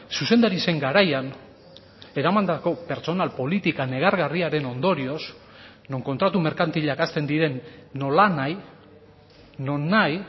zuzendari zen garaian eramandako pertsonal politika negargarriaren ondorioz non kontratu merkantilak hasten diren nolanahi nonahi